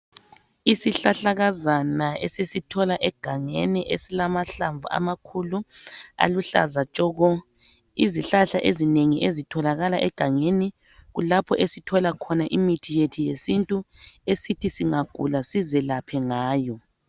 Izihlahlakazana esisithola egangeni esilamahlamvu amakhulu aluhlaza tshoko. Izihlahla ezinengi ezitholakala egangeni kulapho esithola khona imithi yethu yesintu esithi singagula sizilaphe ngayo.